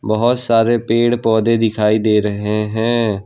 बहुत सारे पेड़ पौधे दिखाई दे रहे हैं।